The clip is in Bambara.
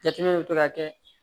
Jateminɛw bɛ to ka kɛ